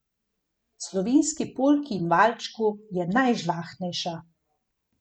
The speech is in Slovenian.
Slovenski polki in valčku, je najžlahtnejša.